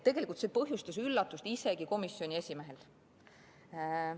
See põhjustas üllatust isegi komisjoni esimehel.